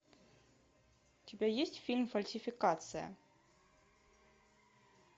у тебя есть фильм фальсификация